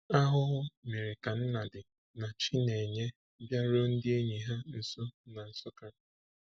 Ahụhụ mere ka Nnadi na Chinenye bịaruo ndị enyi ha nso na Nsukka.